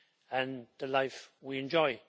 and the life we enjoy.